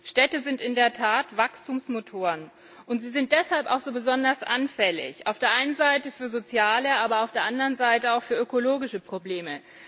Städte sind in der Tat Wachstumsmotoren, und sie sind deshalb auch so besonders anfällig, auf der einen Seite für soziale, aber auf der anderen Seite auch für ökologische Probleme.